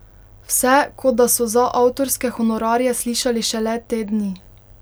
Vse, kot da so za avtorske honorarje slišali šele te dni.